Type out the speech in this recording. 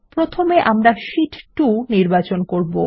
প্রথমে আমরা শীট ২ নির্বাচন করব